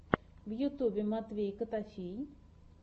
в ютьюбе матвей котофей